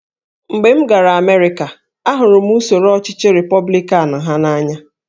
Mgbe m gara Amerịka, ahụrụ m usoro ọchịchị Repọblikan ha n’anya